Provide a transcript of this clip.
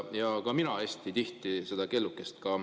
Ka mina kasutasin hästi tihti seda kellukest.